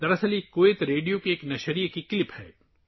دراصل یہ Kuwait radio کی نشریات کا کلپ ہے